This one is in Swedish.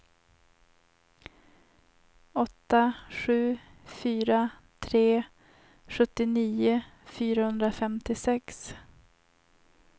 åtta sju fyra tre sjuttionio fyrahundrafemtiosex